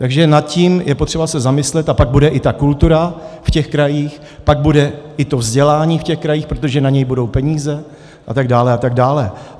Takže nad tím je potřeba se zamyslet, a pak bude i ta kultura v těch krajích, pak bude i to vzdělání v těch krajích, protože na něj budou peníze, a tak dále, a tak dále.